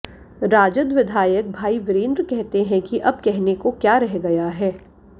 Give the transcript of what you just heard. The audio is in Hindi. राजद विधायक भाई विरेंद्र कहते हैं कि अब कहने को क्या रह गया है